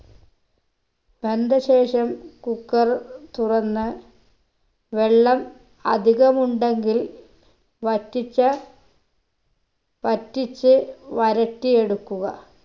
വെന്ത ശേഷം cooker തുറന്ന് വെള്ളം അധികമുണ്ടെങ്കിൽ വറ്റിച്ച വറ്റിച്ച് വരട്ടി എടുക്കുക